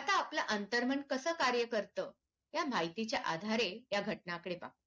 आता आपलं आंतरमन कसं कार्य करतं या माहितीच्या आधारे या घटना कडे पहा